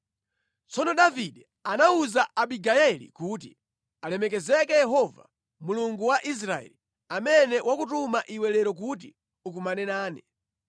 Tsono Davide anawuza Abigayeli kuti, “Alemekezeke Yehova Mulungu wa Israeli, amene wakutuma iwe lero kuti ukumane nane.